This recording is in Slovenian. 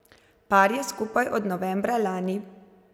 Par je skupaj od novembra lani.